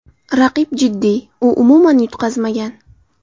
Raqib jiddiy, u umuman yutqazmagan !